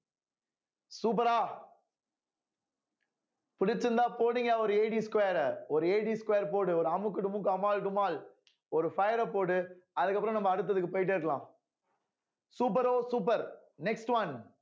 super ஆ பிடிச்சிருந்தா போடுங்க ஒரு square அ ஒரு square போடு ஒரு அமுக்கு டுமுக்கு அமால் டுமால் ஒரு fire அ போடு அதுக்கு அப்புறம் நம்ம அடுத்ததுக்கு போயிட்டே இருக்கலாம் super ஓ super next one